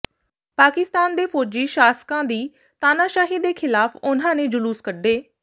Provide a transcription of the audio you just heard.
ਪਾਕਿਸਤਾਨ ਦੇ ਫੌਜੀ ਸ਼ਾਸਕਾਂ ਦੀ ਤਾਨਾਸ਼ਾਹੀ ਦੇ ਖਿਲਾਫ ਉਹਨਾਂ ਨੇ ਜੁਲੂਸ ਕੱਢੇ